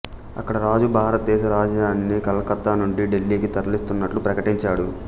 అక్కడ రాజు భారతదేశ రాజధానిని కలకత్తా నుండి ఢిల్లీకి తరలిస్తున్నట్లు ప్రకటించాడు